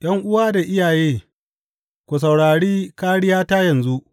’Yan’uwa da iyaye, ku saurari kāriyata yanzu.